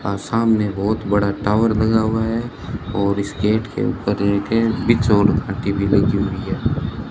और सामने बहुत बड़ा टावर लगा हुआ है और इस गेट के ऊपर एक और घाटी भी लगी हुई है।